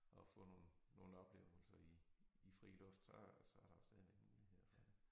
Og få nogle nogle oplevelser i i fri luft så så er der jo stadigvæk muligheder for det